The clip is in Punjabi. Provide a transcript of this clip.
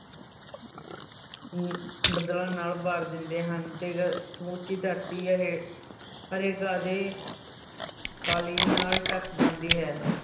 ਅਮ ਬਦਲਾਂ ਨਾਲ ਭਰ ਦਿੰਦੇ ਹਨ ਤੇ ਸਮੁੱਚੀ ਧਰਤੀ ਹੇ~ ਹਰੇ ਘਾਹ ਦੇ ਕਾਲੀਨ ਨਾਲ ਢੱਕ ਜਾਂਦੀ ਹੈ।